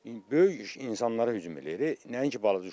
Böyük insanlara hücum eləyir, nəinki balaca uşaqlara.